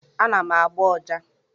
Ana m agba ọjà.